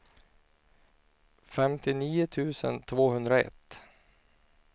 femtionio tusen tvåhundraett